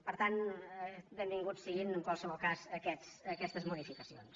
per tant benvingudes siguin en qualsevol cas aquestes modi·ficacions